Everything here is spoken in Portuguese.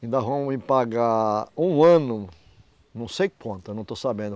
Ainda vão me pagar um ano, não sei quanto, eu não estou sabendo.